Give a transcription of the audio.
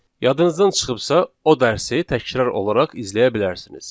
Yadınızdan çıxıbsa, o dərsi təkrar olaraq izləyə bilərsiniz.